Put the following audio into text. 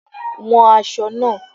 Wọn aṣọ náà.